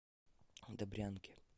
добрянке